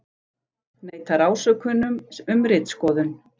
Neitar ásökunum um ritskoðun